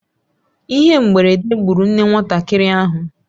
Ihe mberede gburu nne nwatakịrị ahụ.